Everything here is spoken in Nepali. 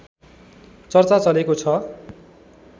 चर्चा चलेको छ